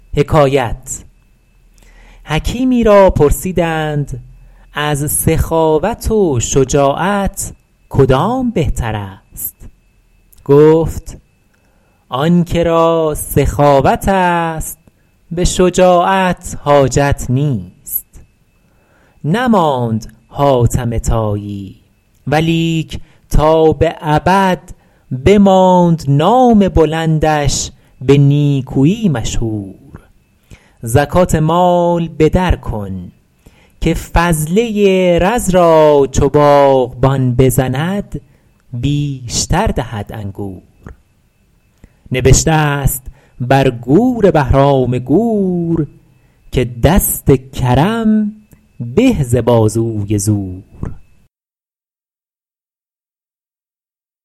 حکیمی را پرسیدند از سخاوت و شجاعت کدام بهتر است گفت آن که را سخاوت است به شجاعت حاجت نیست نماند حاتم طایی ولیک تا به ابد بماند نام بلندش به نیکویی مشهور زکات مال به در کن که فضله رز را چو باغبان بزند بیشتر دهد انگور نبشته است بر گور بهرام گور که دست کرم به ز بازوی زور